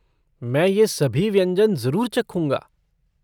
मैं ये सभी व्यंजन जरुर चखूँगा।